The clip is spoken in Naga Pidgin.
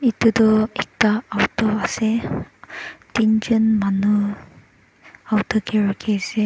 etu tu ekta auto ase tinjon manu auto ke rukhise.